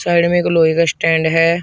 Side में एक लोहे का स्टैंड है।